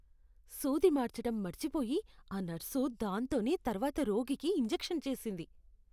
సూది మార్చటం మర్చిపోయి ఆ నర్సు దాంతోనే తర్వాత రోగికి ఇంజెక్షన్ చేసింది.